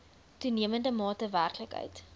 toenemende mate werklikheid